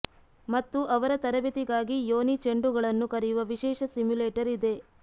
ಮತ್ತು ಅವರ ತರಬೇತಿಗಾಗಿ ಯೋನಿ ಚೆಂಡುಗಳನ್ನು ಕರೆಯುವ ವಿಶೇಷ ಸಿಮ್ಯುಲೇಟರ್ ಇದೆ